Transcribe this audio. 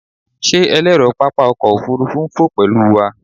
Ṣe ẹlẹrọ papa ọkọ ofurufu n fo pẹlu wa?